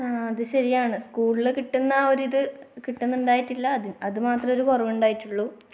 ആ അത് ശരിയാണ്. സ്കൂളിൽ കിട്ടുന്ന ആ ഒരിത് കിട്ടുന്നുണ്ടായിട്ടില്ല, അതുമാത്രമേ ഒരു കുറവുണ്ടായിട്ടുള്ളൂ.